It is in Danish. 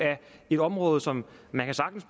et område som man sagtens